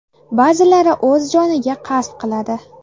Ba’zilari o‘z joniga qasd qiladi.